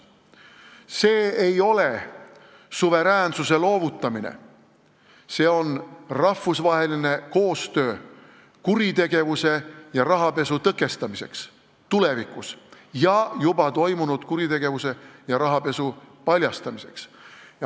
See ei ole suveräänsuse loovutamine, see on rahvusvaheline koostöö kuritegevuse ja rahapesu tõkestamiseks tulevikus ja juba toimunud rahapesu paljastamiseks.